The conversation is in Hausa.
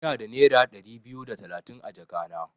Ina da nera Dari biyu da talatin a jaka na.